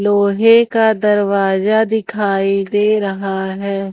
लोहे का दरवाजा दिखाई दे रहा है।